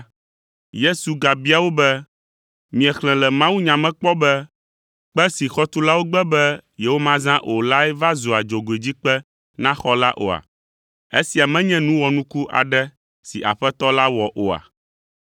Yesu gabia wo be, “Miexlẽ le mawunya me kpɔ be, “ ‘Kpe si xɔtulawo gbe be yewomazã o lae va zua dzogoedzikpe na xɔ la oa? Esia menye nu wɔnuku aɖe si Aƒetɔ la wɔ oa’?